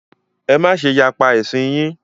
Ẹ má ṣe yapa ẹ̀sìn yín!